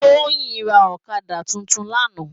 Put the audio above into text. Toyin rá òkadá tútún làná